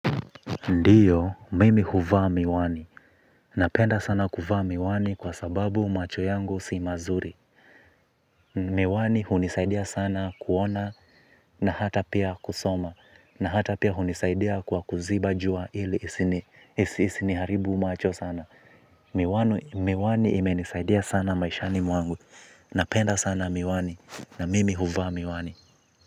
Ndiyo, mimi huvaa miwani. Napenda sana kuvaa miwani kwa sababu macho yangu si mazuri. Miwani hunisaidia sana kuona na hata pia kusoma. Na hata pia hunisaidia kwa kuziba jua ili isiniharibu macho sana. Miwani imenisaidia sana maishani mwangu. Napenda sana miwani na mimi huvaa miwani.